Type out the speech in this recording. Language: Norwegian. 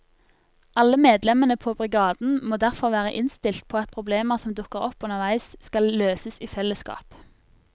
Alle medlemmene på brigaden må derfor være innstilt på at problemer som dukker opp underveis skal løses i fellesskap.